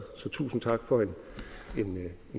så tusind tak for en